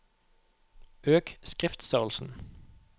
Øk skriftstørrelsen